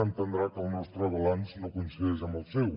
entendrà que el nostre balanç no coincideix amb el seu